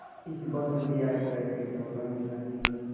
इस भारत यात्रा के दौरान गांधी ने